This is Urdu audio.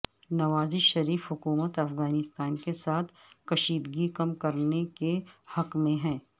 نواز شریف حکومت افغانستان کے ساتھ کشیدگی کم کرنے کے حق میں ہے